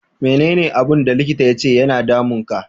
Me ne ne abun da likita ya ce ya na damun ka?